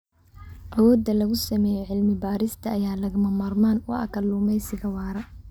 Awoodda lagu sameeyo cilmi-baarista ayaa lagama maarmaan u ah kalluumeysiga waara.